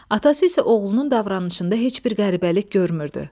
Atası isə oğlunun davranışında heç bir qəribəlik görmürdü.